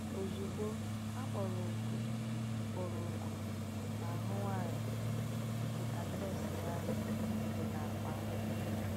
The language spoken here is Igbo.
Ozugbo, a kpọrọ oku kpọrọ oku n’ahụ nwanyị nke adreesị ya dị n’akpa ahụ.